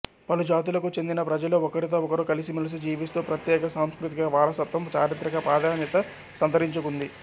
పలు జాతులకు చెందిన ప్రజలు ఒకరితో ఒకరు కలిసిమెలిసి జీవిస్తూ ప్రత్యేక సాంస్కృతిక వారసత్వం చారిత్రక ప్రాధాన్యత సంతరించుకుంది